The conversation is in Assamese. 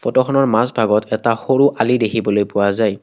ফটোখনৰ মাজভাগত এটা সৰু আলি দেখিবলৈ পোৱা যায়।